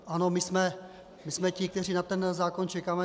Ano, my jsme ti, kteří na ten zákon čekáme.